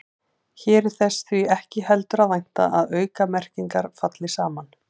Hér er þess því ekki heldur að vænta að aukamerkingar falli saman.